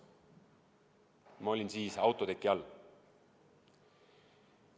Ma olin siis autoteki all.